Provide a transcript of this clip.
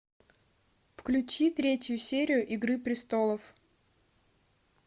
включи третью серию игры престолов